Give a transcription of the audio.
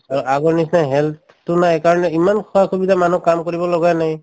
অ, আগৰ নিচিনা health তো নাই কাৰণ ইমান সা-সুবিধা মানুহ কাম কৰিব লগা নাই